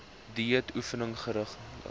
dieet oefening geringe